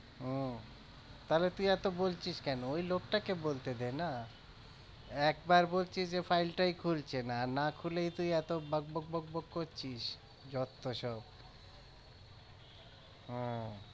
ও তাহলে তুই এতো বলছিস কেন ওই লোকটাকে বলতে দেনা। একবার বলছিস যে file টাই খুলছে না। আর না খুলেই তুই এতো বক বক বক বক করছিস যত সব ওহ